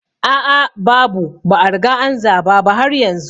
A a babu, ba a riga an zaba ba har yanzu